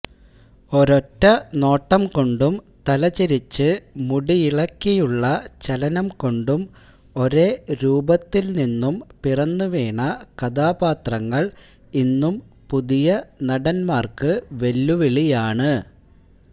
ഒരൊറ്റ നോട്ടംകൊണ്ടും തലചെരിച്ച് മുടിയിളക്കിയുള്ള ചലനംകൊണ്ടും ഒരേ രൂപത്തില്നിന്നും പിറന്നുവീണ കഥാപാത്രങ്ങള് ഇന്നും പുതിയ നടന്മാര്ക്ക് വെല്ലുവിളിയാണ്